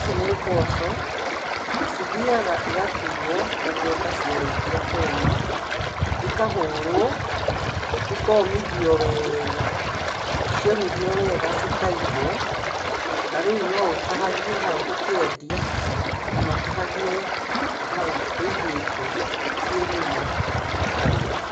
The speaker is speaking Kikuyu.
Ici nĩ mboco na cithiaga cigatuo mçũgũnda ciarĩkia kũma ikahũrwo ikomithio wega, ciomithio wega cikaigwo na rĩu no ũtahagie hau ũkendia. Kana ũtahagie hau wĩigĩte ciĩ nyũmũ ũkarĩa.